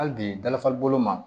Hali bi dalifa bolo ma